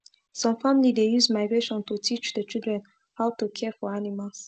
some family dey use migration to teach the children how to care for animals